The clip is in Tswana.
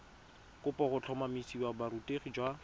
kopo go tlhotlhomisa borutegi jwa